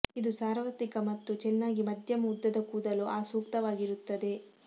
ಇದು ಸಾರ್ವತ್ರಿಕ ಮತ್ತು ಚೆನ್ನಾಗಿ ಮಧ್ಯಮ ಉದ್ದದ ಕೂದಲು ಆ ಸೂಕ್ತವಾಗಿರುತ್ತದೆ